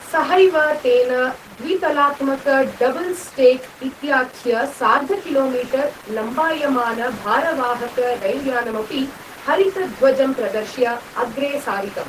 सहैव तेन द्वितलात्मकडबल् स्टेक् इत्याख्यसार्धकिलोमीटर्लम्बायमानभारवाहकरैल्यानमपि हरितध्वजं प्रदर्श्य अग्रे सारितम्।